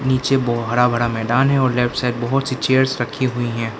नीचे वो हरा भरा मैदान है और लेफ्ट साइड बहुत सी चेयर्स रखी हुई हैं।